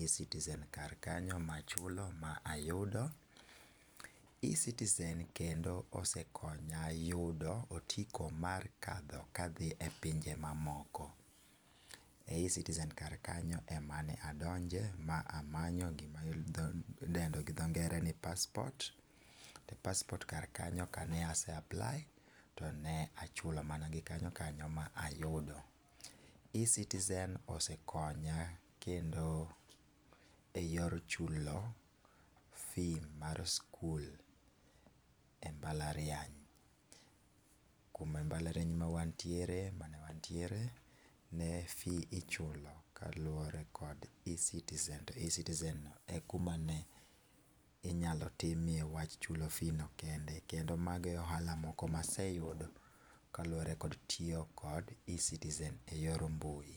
e citizen kanyo ma achulo ma ayudo .Ecitizen kendo osekonya yudo otiko mar kadho ka adhi e pinje ma moko e ecitizen kanyo ema ne adonje ma amanye gi ma idendo gi dho ngere ni passport. Ko passport kar kanyo ka ase apply to ne achulo mana gi kanyo kanyo ma ayudo. Ecitizen osekonya kendo e yor chulo fee mar skul e mbalariany .Ku ma mbalariany ma wan tiere kata ma ne wantiere ne fee ichulo kaluore gi ecitizen to ecitizen no e kuma inya timie wach chulo fee no kende .Kendo mago e ohala moko ma aseyudo kaluore kod tyiyo gi Ecitizen e yor mbui.